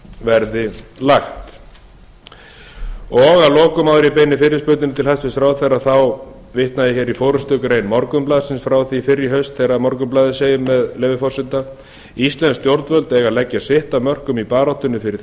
verði lagt að lokum áður en ég beini fyrirspurnum til hæstvirts ráðherra þá vitna ég í forustugrein morgunblaðsins frá því fyrr í haust þegar morgunblaðið segir með leyfi forseta íslensk stjórnvöld eiga að leggja sitt af mörkum í baráttunni fyrir